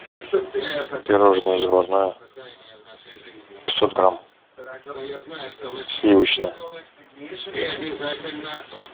пирожное заварное пятьсот грамм сливочное